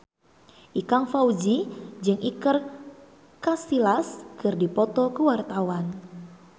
Ikang Fawzi jeung Iker Casillas keur dipoto ku wartawan